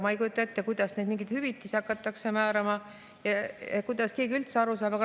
Ma ei kujuta ette, kuidas mingeid hüvitisi hakatakse määrama, kuidas keegi üldse sellest aru saab.